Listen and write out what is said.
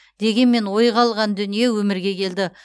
дегенмен ойға алған дүние өмірге келді